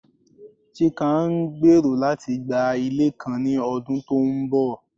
Chike ngbero lati gba ile kan ni ọdun to nbọ